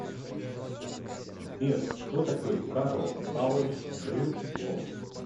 сбер кто такой карл павлович брюллов